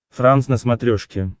франс на смотрешке